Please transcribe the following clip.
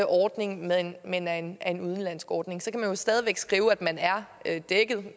ordning men men af en en udenlandsk ordning så kan der jo stadig væk stå at man er dækket